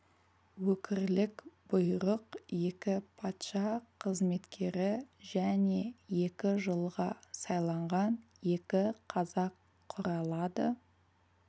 өкірлік бұйрық екі патша қызметкері және екі жылға сайланған екі қазақ құралады